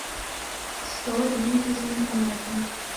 сто дней без интернета